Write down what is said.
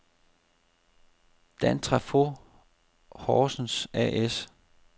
Dantrafo Horsens A/S